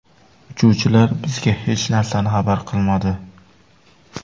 Uchuvchilar bizga hech narsani xabar qilmadi.